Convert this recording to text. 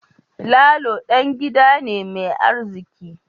Lalo dan gida ne mai arziki